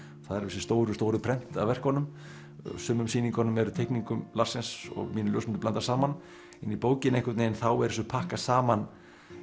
það eru þessi stóru stóru prent af verkunum á sumum sýningum er teikningum Larsens og mínum ljósmyndum blandað saman en í bókinni er þessu pakkað saman